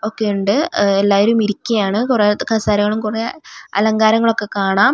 ഒക്കെ ഉണ്ട് ഉഹ് എല്ലാവരും ഇരിക്കയാണ് കുറേ കസേരകളും കുറേ അലങ്കാരങ്ങളൊക്കെ കാണാം .